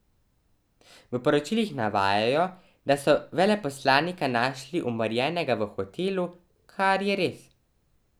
V poročilih navajajo, da so veleposlanika našli umorjenega v hotelu, kar je res.